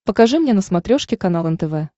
покажи мне на смотрешке канал нтв